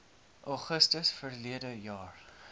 augustus verlede jaar